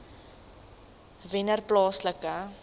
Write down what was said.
wennerplaaslike